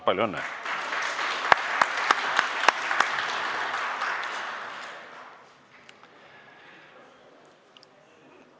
Palju õnne!